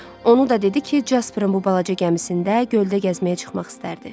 Onu da dedi ki, Casperin bu balaca gəmisində göldə gəzməyə çıxmaq istərdi.